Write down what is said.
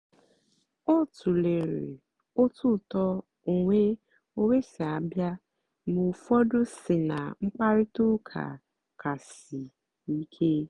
ọ tụ̀lèrè otú ùtó onwé onwé sì àbịa mgbe ụ́fọ́dù sí ná mkpáịrịtà ụ́ka kàsì sìè ìké.